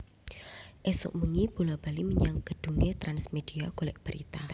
Isuk mbengi bola bali menyang gedhunge Trans Media golek berita